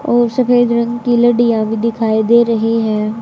और सफेद रंग की लड़ियां भी दिखाई दे रही है।